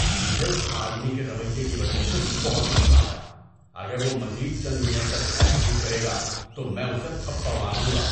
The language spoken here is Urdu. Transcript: مجھے اس آدمی کے رویے کی وجہ سے بہت غصہ آیا۔ اگر وہ مزید چند منٹ تک ایسا ہی کرے گا تو میں اسے تھپڑ مار دوں گا۔